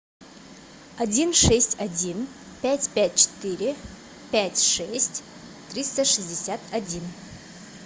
один шесть один пять пять четыре пять шесть триста шестьдесят один